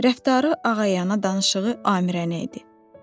Rəftarı ağayana, danışığı amirənə idi.